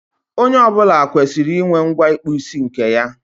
Onye ọ bụla kwesịrị inwe ngwa ịkpụ isi nke ya.